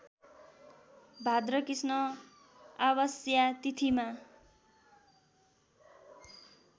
भाद्रकृष्ण आवास्या तिथिमा